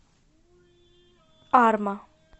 арма